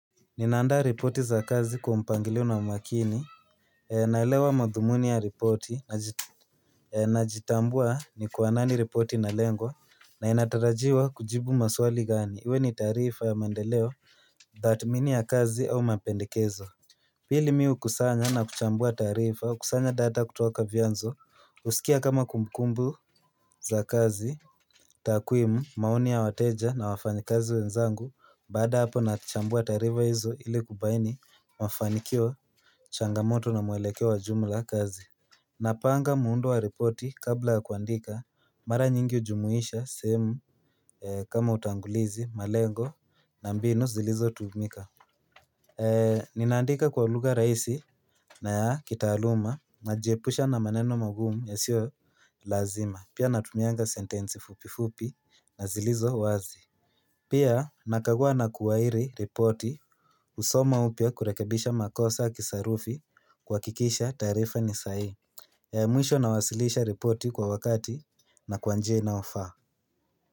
Ninaandaa reporti za kazi kwa mpangilio na umakini, eeh nalewa madhumuni ya reporti, naji eeh najitambua ni kwa nani reporti na lengwa, na inatarajiwa kujibu maswali gani, iwe ni tarifa ya mandeleo, datimini ya kazi au mapendikezo. Pili miu kusanya na kuchambua tarifa kusanya data kutoka vyanzo usikia kama kumkumbu za kazi takuimu maoni ya wateja na wafanyikazi wenzangu baada hapo na chambua tarifa hizo ili kubaini mafanikio changamoto na muelekeo jumla kazi Napanga muundo wa ripoti kabla kuandika mara nyingi uhjumuisha semu eeeh kama utangulizi malengo na mbinu zilizo tuumika eee Ninaandika kwa lugha raisi na yaa kitaaluma, najiepusha na maneno magumu ya sio lazima. Pia natumianga sentensi fupifupi na zilizo wazi Pia nakagua na kuwairi reporti usoma upya kurekebisha makosa kisarufi kuhakikisha taarifa ni sahii ee mwisho nawasilisha reporti kwa wakati na kwanjia inayofaa.